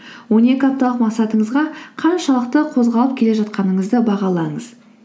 он екі апталық мақсатыңызға қаншалықты қозғалып келе жатқаныңызды бағалаңыз